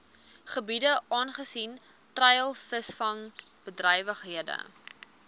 gebiede aangesien treilvisvangbedrywighede